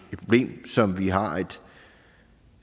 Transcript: problem som vi har et